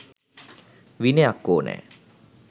විනයක් ඕනැ.